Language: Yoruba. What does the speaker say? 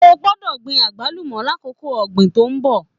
O gbọ́dọ̀ gbin agbalumọ l'akoko ọgbin tó n bọ!